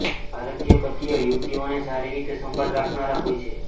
ભારતીય પતિઓ યુવતીઓની સારી રીતે સંભાળ રાખનાર હોય છે